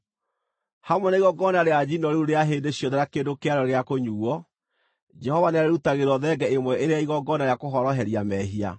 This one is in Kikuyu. Hamwe na igongona rĩa njino rĩu rĩa hĩndĩ ciothe na kĩndũ kĩarĩo gĩa kũnyuuo, Jehova nĩarĩrutagĩrwo thenge ĩmwe ĩrĩ ya igongona rĩa kũhoroheria mehia.